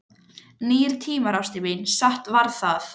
Nýir tímar, ástin mín, satt var það.